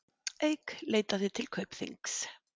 Eik leitaði til Kaupþings